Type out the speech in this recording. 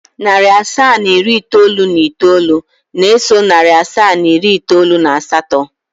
Narị asaa na iri itoolu na itoolu na-eso narị asaa na iri itoolu na asatọ.